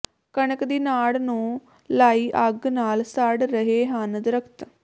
ਕਣਕ ਦੀ ਨਾੜ ਨੂੰ ਲਾਈ ਅੱਗ ਨਾਲ ਸੜ ਰਹੇ ਹਨ ਦਰਖ਼ਤ